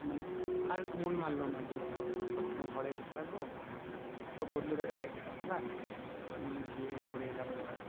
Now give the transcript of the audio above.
মানে আর মন মানলো না যে, সব সময় ঘরে বসে থাকবো তো বন্ধুটাকে বাইক এ চাপালাম নিয়ে গিয়ে ঘুরে এলাম ওটাই